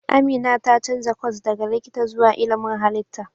Amina ta canza kwas daga likita zuwa ilmin halitta.